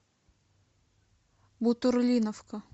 бутурлиновка